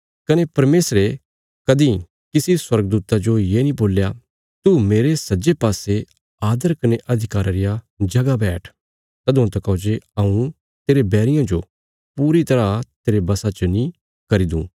कने परमेशरे कदीं किसी स्वर्गदूता जो ये नीं बोल्या तू मेरे सज्जे पास्से आदर कने अधिकारा रिया जगह बैठ तदुआं तकौ जे हऊँ तेरे बैरियां जो पूरी तरह तेरे बशा च नीं करी दूँ